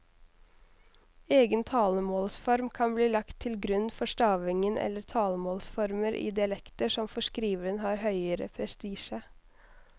Egen talemålsform kan bli lagt til grunn for stavingen eller talemålsformer i dialekter som for skriveren har høgere prestisje.